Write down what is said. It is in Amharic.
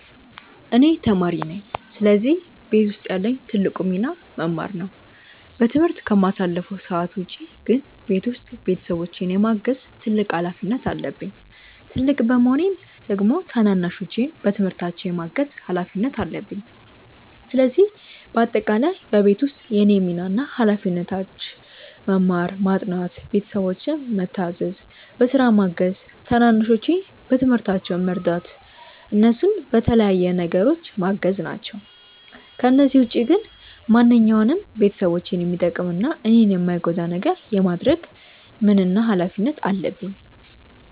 እኔ ተማሪ ነኝ ስለዚህ ቤት ውስጥ ያለኝ ትልቁ ሚና መማር ነው። በትምህርት ከማሳልፈው ሰዓት ውጪ ግን ቤት ውስጥ ቤተሰቦቼን የማገዝ ትልቅ ሀላፊነት አለብኝ። ትልቅ በመሆኔም ደግሞ ታናናሾቼን በትምህርታቸው የማገዝ ሀላፊነት አለብኝ። ስለዚህ በአጠቃላይ በቤት ውስጥ የእኔ ሚና እና ሀላፊነቶች መማር፣ ማጥናት፣ ቤተሰቦቼን ምታዘዝ፣ በስራ ማገዝ፣ ታናናሾቼን በትምህርታቸው መርዳት፣ እነሱን በተለያዩ ነገሮች ማገዝ ናቸው። ከነዚህ ውጪ ግን ማንኛውንም ቤተሰቦቼን የሚጠቅም እና እኔን የማይጎዳ ነገር የማድረግ ምን እና ሀላፊነት አለብኝ።